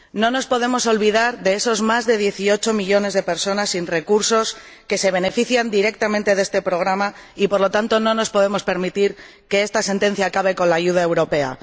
No nos podemos olvidar de esos más de 18 millones de personas sin recursos que se benefician directamente de este programa y, por lo tanto, no nos podemos permitir que esta sentencia acabe con la ayuda europea.